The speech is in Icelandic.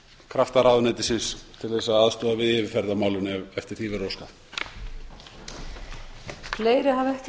krafta ráðuneytisins til að aðstoða við yfirferð á málinu ef eftir því verður óskað